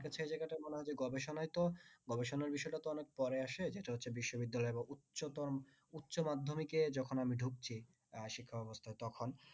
বলছি এই জায়গাটা গবেষণায় তো গবেষণার বিষয় টা তো অনেক পরে আসে যাটা হচ্ছে বিশ্ববিদ্যালয় উচ্চতম বা উচ্চ মাধ্যমিকএ আমি যখন ঢুকছি শিক্ষা ব্যাবস্থায় তখন